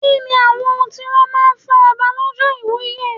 Kí ni àwọn ohun tí wón máa ń fún Ọba lọ́jọ́ ìwúye?